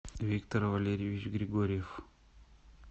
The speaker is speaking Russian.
виктор валерьевич григорьев